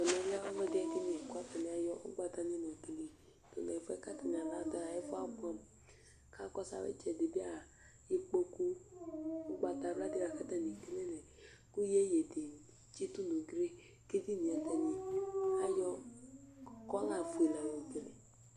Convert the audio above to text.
Ɛmɛlɛ ɛfʋɛdi kʋ atani ayʋ ugbatawla la yɔ kele Ɛfʋɛ ɛ ku atani du yɛ abʋɛ kʋ akɔsu ayʋ itsɛdi bi ya ikpoku ugbatawla di kʋ iyeyi di tsitu nʋ ʋgli Ɛdiní ye bi atani ayɔ kɔla fʋe la yɔ kele